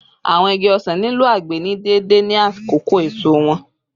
Awọn igi osan nilo agbe ni deede ni akoko eso wọn